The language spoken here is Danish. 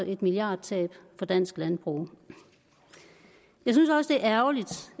et milliardtab for dansk landbrug jeg synes også det er ærgerligt